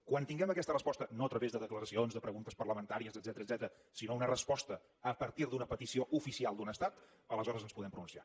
quan tinguem aquesta resposta no a través de declaracions de preguntes parlamentàries etcètera sinó una resposta a partir d’una petició oficial d’un estat aleshores ens podem pronunciar